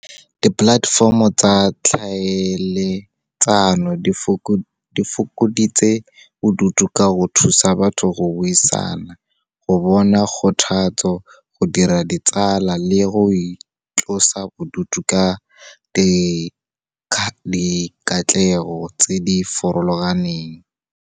Di-platform-o tsa tlhaeletsano di fokoditse bodutu ka go thusa batho go buisana, go bona kgothatso, go dira ditsala le go itlosa bodutu ka di katlego tse di farologaneng.